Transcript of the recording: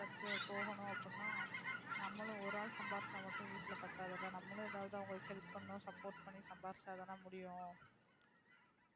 அடுத்து அடுத்து போகணும் அப்படினா நம்மளும் ஒரு ஆள் சம்பாதிச்சா மட்டும் வீட்டில பத்தாது இல்ல நாமளும் ஏதாவது அவங்களுக்கு help பண்ணனும் support பன்னி சம்பாதிச்சாதான் முடியும்.